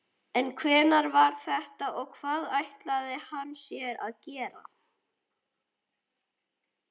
En hver var þetta og hvað ætlaði hann sér?